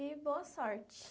E boa sorte.